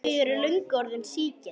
Þau eru löngu orðin sígild.